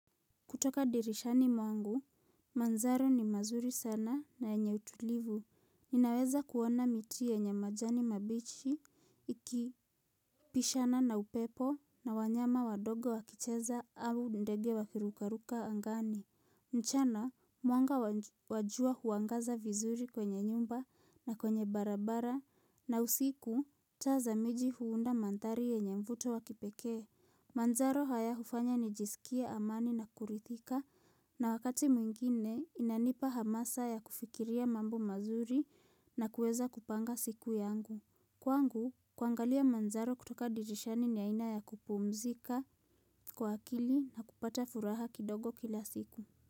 Kutoka dirishani mwangu, manzaro ni mazuri sana na yenye utulivu. Ninaweza kuona miti yenye majani mabichi, ikipishana na upepo na wanyama wadogo wakicheza au ndege wakirukaruka angani. Mchana, mwanga wa jua huangaza vizuri kwenye nyumba na kwenye barabara na usiku taa za miji huunda manthari yenye mvuto wakipekee. Manzaro haya hufanya nijisikie amani na kurithika na wakati mwingine inanipa hamasa ya kufikiria mambo mazuri na kuweza kupanga siku yangu Kwangu, kuangalia manzaro kutoka dirishani ni aina ya kupumzika kwa akili na kupata furaha kidogo kila siku.